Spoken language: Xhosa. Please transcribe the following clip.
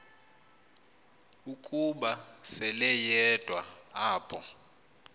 ukuba seleyedwa apho